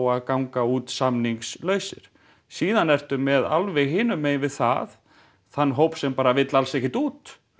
að ganga út samningslausir síðan ertu með alveg hinum megin við það þann hóp sem bara vill alls ekkert út